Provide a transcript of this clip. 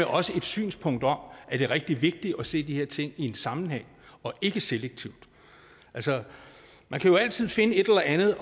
også et synspunkt om at det er rigtig vigtigt at se de her ting i en sammenhæng og ikke selektivt altså man kan altid finde et eller andet